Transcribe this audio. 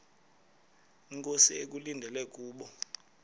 inkosi ekulindele kubo